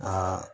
Aa